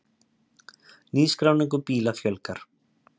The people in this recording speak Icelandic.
Nýskráningum bíla fjölgar